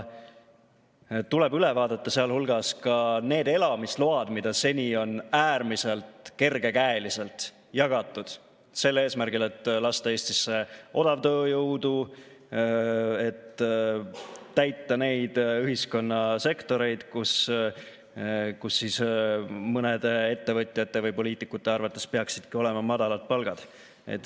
Tuleb üle vaadata sealhulgas ka need elamisload, mida seni on äärmiselt kergekäeliselt jagatud eesmärgil lasta Eestisse odavtööjõudu, et täita neid ühiskonna sektoreid, kus mõnede ettevõtjate või poliitikute arvates peaksidki olema madalad palgad.